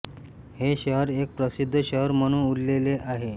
हे शहर एक प्रसिद्ध शहर म्हणून उल्लेले आहे